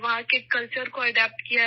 وہاں کے کلچر کو اپنایا ہے